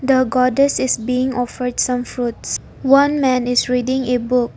The goddess is being offered some fruits one man is reading a book.